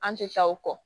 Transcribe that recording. An tɛ taa o kɔ